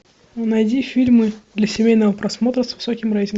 найди фильмы для семейного просмотра с высоким рейтингом